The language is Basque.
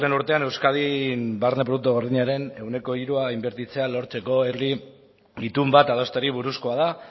urtean euskadin barne produktu gordinaren ehuneko hirua inbertitzea lortzeko herri itun bat adosteari buruzkoa da